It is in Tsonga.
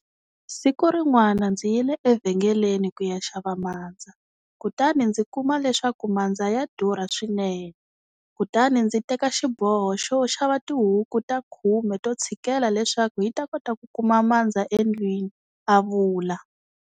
Siku rin'wana ndzi yile evhengeleni ku ya xava mandza kutani ndzi kuma leswaku mandza ya durha swinene, kutani ndzi teka xiboho xo xava tihuku ta 10 to tshikela leswaku hi ta kuma mandza endlwini, a vula.